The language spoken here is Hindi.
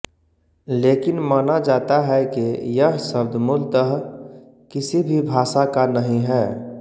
लेकिन माना जाता है के यह शब्द मूलतः किसी भी भाषा का नहीं है